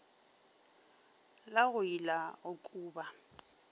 la go ila go kuba